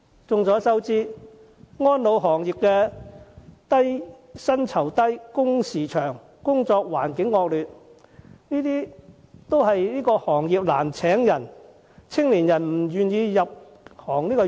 眾所周知，安老行業薪酬低、工時長、工作環境惡劣，導致該行業請人難，青年人都不願意入行。